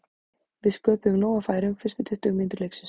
Við sköpuðum nóg af færum fyrstu tuttugu mínútur leiksins.